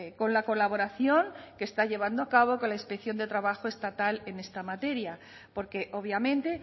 con la colaboración que está llevando a cabo con la inspección de trabajo estatal en esta materia porque obviamente